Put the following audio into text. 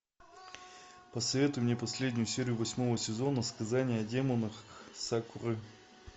посоветуй мне последнюю серию восьмого сезона сказание о демонах сакуры